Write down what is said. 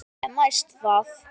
En næst það?